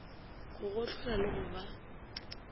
go gohlola le go ba